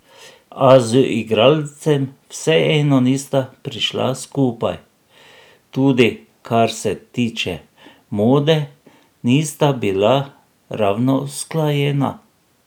A z igralcem vseeno nista prišla skupaj, tudi kar se tiče mode, nista bila ravno usklajena.